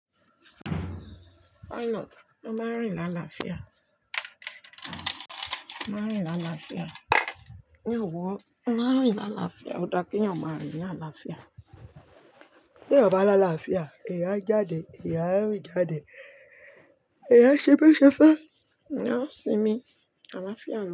Why not? Ó máa rìn ní àlàáfíà. Mo máa rìn ní àlàáfíà. Ní ọ̀wọ̀, a máa rìn ní àlàáfíà. Ó dá kí eyan ò máa rìn ní àlàáfíà. Tí eyan bá lá àlàáfíà, eyan á jáde, eyan á rì jáde, eyan á ṣẹbo ṣefẹ́, eyan á sinmi, àlàáfíà.